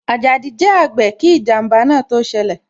Ajadi jẹ àgbè kí ijanba náà tó ṣẹlẹ̀